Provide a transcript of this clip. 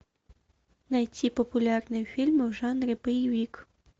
найти популярные фильмы в жанре боевик